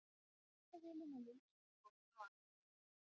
Myndavélum og linsum stolið á Akureyri